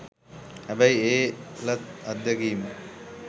හැබැයි ඒ ලත් අත්දැකීම